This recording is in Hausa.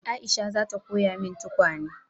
Aisha za ta koya yin tukwane